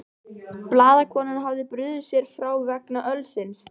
Blaðakonan hafði brugðið sér frá vegna ölsins.